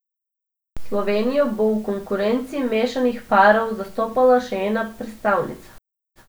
Slovenijo bo v konkurenci mešanih parov zastopala še ena predstavnica.